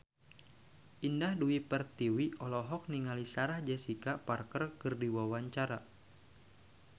Indah Dewi Pertiwi olohok ningali Sarah Jessica Parker keur diwawancara